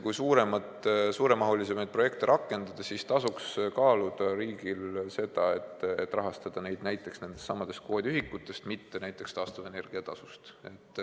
Kui suuremahulisemaid projekte rakendada, siis tasuks riigil kaaluda seda, et rahastada neid näiteks nendest samadest kvoodiühikutest, mitte taastuvenergia tasust.